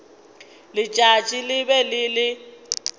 letšatši le be le le